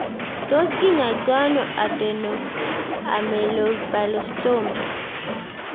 Tos kinyoitoi ano Adenoameloblastoma